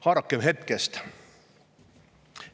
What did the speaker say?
Haarakem hetkest!